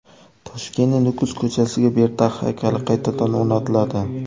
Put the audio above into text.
Toshkentning Nukus ko‘chasiga Berdaq haykali qaytadan o‘rnatiladi.